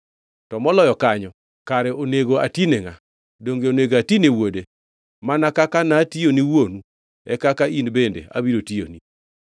To moloyo kanyo, kare onego atine ngʼa? Donge onego atine wuode? Mana kaka natiyo ni wuonu, e kaka in bende abiro tiyoni.”